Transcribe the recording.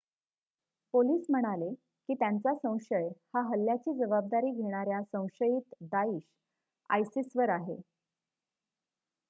police म्हणाले की त्यांचा संशय हा हल्ल्याची जबाबदारी घेणाऱ्या संशयित दाईश आयसिस वर आहे